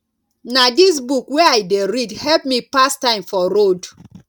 na dis book wey i dey read help me pass time for road